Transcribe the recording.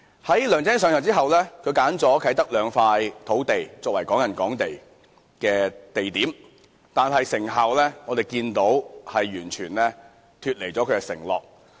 "在梁振英上任後，他挑選了啟德的兩塊土地作為"港人港地"的地點，但如我們所見，成效完全脫離承諾。